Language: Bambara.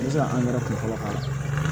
I bɛ se ka angɛrɛ kunfɔlɔ k'a la